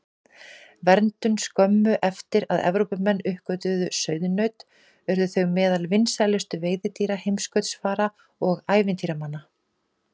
Verndun Skömmu eftir að Evrópumenn uppgötvuðu sauðnaut urðu þau meðal vinsælustu veiðidýra heimskautsfara og ævintýramanna.